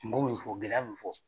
kungo minnu fɔ gɛlɛya minnu fɔ.